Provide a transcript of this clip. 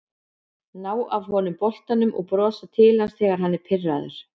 Ná af honum boltann og brosa til hans þegar hann er pirraður